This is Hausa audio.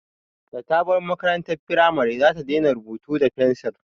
Da ta bar makarantar firamare za ta daina rubutu da fensir